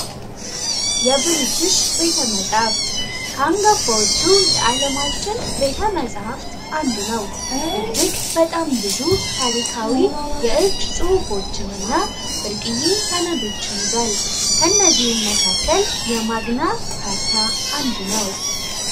የብሪትሽ ቤተ መጽሐፍት ካንገ ፈወቹ የዓለማችን ቤተ መጽሐፍት አንዱ ነው እጅግ በጣም ብዙ ታሪካዊ የእጅ ጽሑፎችንና ብርቅዬ ሰነዶችን ይዟል. ከእነዚህ መካከል የማግና ካርታ አንዱ ነው።